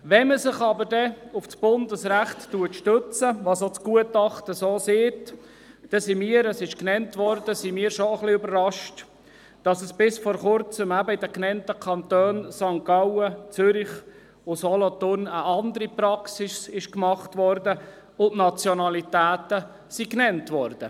Wenn man sich aber auf Bundesrecht stützt, was auch das Gutachten tut, sind wir auch überrascht, dass bis vor Kurzem in den genannten Kantonen – St. Gallen, Zürich und Solothurn – eine andere Praxis gelebt wurde und die Nationalitäten genannt wurden.